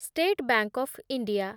state bank of India